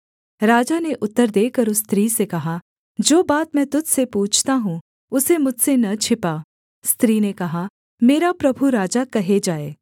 राजा ने उत्तर देकर उस स्त्री से कहा जो बात मैं तुझ से पूछता हूँ उसे मुझसे न छिपा स्त्री ने कहा मेरा प्रभु राजा कहे जाए